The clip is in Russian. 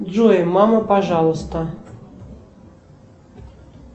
джой мама пожалуйста